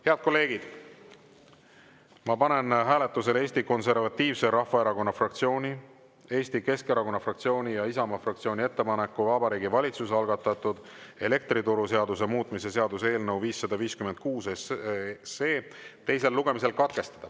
Head kolleegid, ma panen hääletusele Eesti Konservatiivse Rahvaerakonna fraktsiooni, Eesti Keskerakonna fraktsiooni ja Isamaa fraktsiooni ettepaneku Vabariigi Valitsuse algatatud elektrituruseaduse muutmise seaduse eelnõu 556 teine lugemine katkestada.